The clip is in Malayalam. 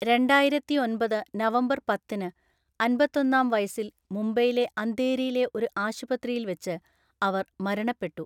രണ്ടായിരത്തിഒന്‍പത് നവംബർ പത്തിന് അന്‍പത്തൊന്നാം വയസ്സിൽ മുംബൈയിലെ അന്ധേരിയിലെ ഒരു ആശുപത്രിയിൽ വച്ച് അവർ മരണപ്പെട്ടു.